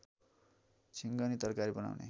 झिङ्गनी तरकारी बनाउने